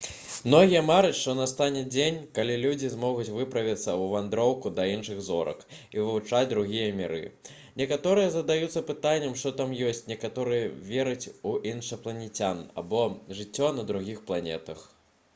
многія мараць што настане дзень калі людзі змогуць выправіцца ў вандроўку да іншых зорак і вывучаць другія міры некаторыя задаюцца пытаннем што там ёсць некаторыя вераць у іншапланецян або жыццё на другіх планетах